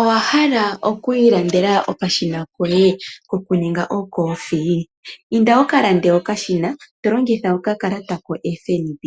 Owa hala oku ilandela okashina koye kokuninga okothiwa? Inda wu ka lande okashina to longitha okakalata ko FNB.